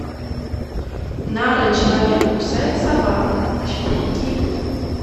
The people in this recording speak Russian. нарой человек кусает собаку четыре кей